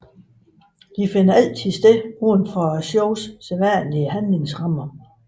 De finder altid sted uden for showets sædvanlige handlingsrammer